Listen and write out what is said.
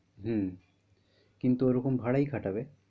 হম কিন্তু ওরকম ভাড়াই খাটাবে।